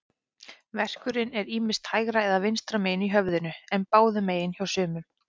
Verkurinn er ýmist hægra eða vinstra megin í höfðinu, en báðum megin hjá sumum.